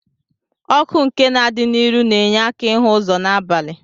Ọkụ nke na adi n'iru na enye aka ihu ụzọ na abali.